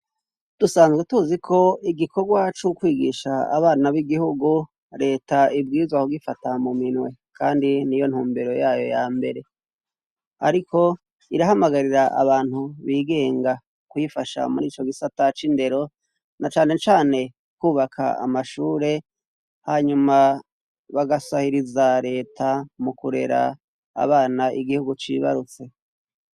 Dusanzwe tuzi ko igikorwa co kwigisha abana b'igihugu leta ibwirizwa kugifata mu minwe kandi niyo ntumbero yayo ya mbere ariko irahamagarira abantu bigenga kuyifasha muri ico gisata c'indero na cane cane kwubaka amashure hanyuma bagasahiriza leta mu kurera abana igihugu cibarutse.